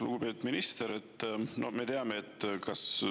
Lugupeetud minister!